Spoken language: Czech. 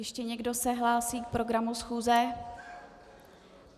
Ještě někdo se hlásí k programu schůze?